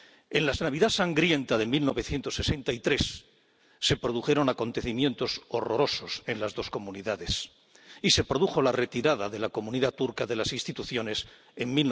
En la Navidad sangrienta de 1963 se produjeron acontecimientos horrorosos en las dos comunidades, y se produjo la retirada de la comunidad turca de las instituciones en